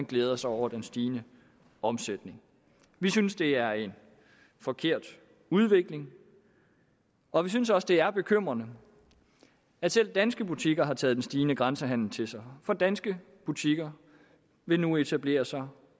glæder sig over den stigende omsætning vi synes det er en forkert udvikling og vi synes også at det er bekymrende at selv danske butikker har taget den stigende grænsehandel til sig for danske butikker vil nu etablere sig